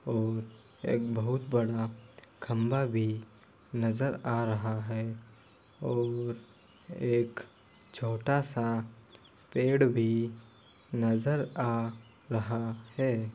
और एक बहुत बड़ा खम्भा भी नज़र आ रहा है और एक छोटा सा पेड़ भी नज़र आ रहा है।